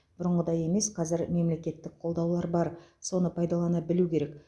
бұрынғыдай емес қазір мемлекеттік қолдаулар бар соны пайдалана білу керек